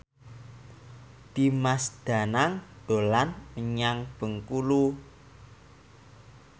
Dimas Danang dolan menyang Bengkulu